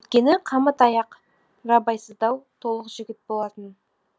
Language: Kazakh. өйткені қамыт аяқ рабайсыздау толық жігіт болатын